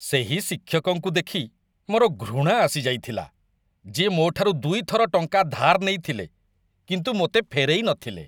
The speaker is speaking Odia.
ସେହି ଶିକ୍ଷକଙ୍କୁ ଦେଖି ମୋର ଘୃଣା ଆସି ଯାଇଥିଲା ଯିଏ ମୋଠାରୁ ଦୁଇ ଥର ଟଙ୍କା ଧାର ନେଇଥିଲେ କିନ୍ତୁ ମୋତେ ଫେରେଇ ନଥିଲେ।